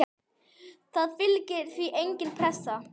Það fylgir því engin pressa.